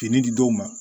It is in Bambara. Fini di dɔw ma